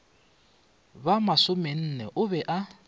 ba masomenne o be a